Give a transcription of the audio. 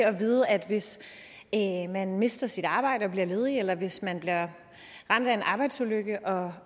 at vide at hvis man mister sit arbejde og bliver ledig eller hvis man bliver ramt af en arbejdsulykke og